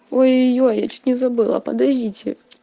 ой-ёй я чуть не забыла подождите